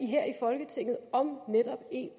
her i folketinget om